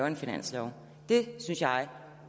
en finanslov det synes jeg